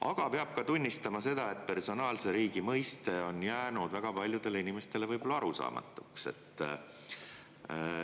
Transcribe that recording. Aga peab ka tunnistama seda, et personaalse riigi mõiste on jäänud väga paljudele inimestele võib-olla arusaamatuks.